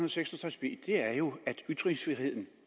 og seks og tres b er jo at ytringsfriheden